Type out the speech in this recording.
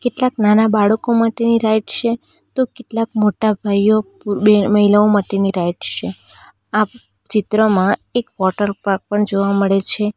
કેટલાક નાના બાળકો માટેની રાઇડ છે તો કેટલાક મોટા ભાઈઓ પૂર બેહે મહિલાઓ માટેની રાઇડ છે આ ચિત્રમાં એક વોટરપાર્ક પણ જોવા મળે છે.